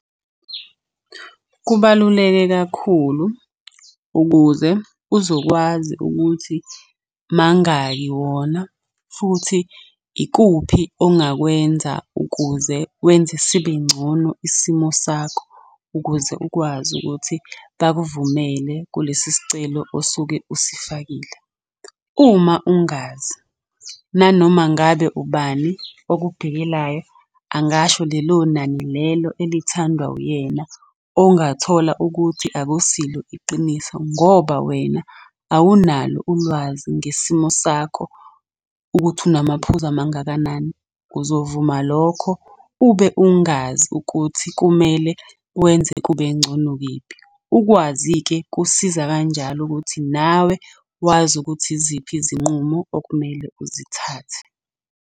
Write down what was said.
Kubaluleke kakhulu ukuze uzokwazi ukuthi mangaki wona futhi ikuphi ongakwenza ukuze wenze sibengcono isimo sakho ukuze ukwazi ukuthi bakuvumele kulesi sicelo osuke usifakile. Uma ungazi, nanoma ngabe ubani okubhekelayo, angasho lelo nani lelo elithandwa uyena ongathola ukuthi akusilo iqiniso ngoba wena awunalo ulwazi ngesimo sakho ukuthi unamaphuzu amangakanani, uzovuma lokho ube ungazi ukuthi kumele wenze kube ngcono kephi. Ukwazi-ke Kusiza kanjalo ukuthi nawe wazi ukuthi iziphi izinqumo okumele uzithathe.